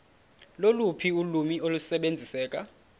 loluphi ulwimi olusebenziseka